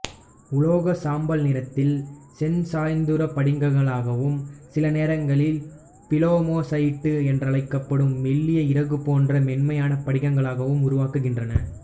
உலோகச் சாம்பல் நிறத்தில் செஞ்சாய்சதுரப் படிகங்களாகவும் சில நேரங்களில் பிளமோசைட்டு என்று அழைக்கப்படும் மெல்லிய இறகுபோன்ற மென்மையான படிகங்களாகவும் உருவாகின்றன